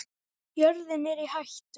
Jörðin er í hættu